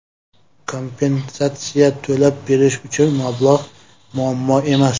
Kompensatsiya to‘lab berish uchun mablag‘ muammo emas.